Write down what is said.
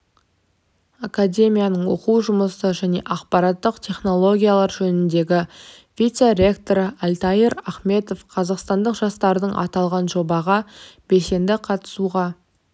академияның оқу жұмысы және ақпараттық технологиялар жөніндегі вице-ректоры альтаир ахметов қазақстандық жастарды аталған жобаға белсенді қатысуға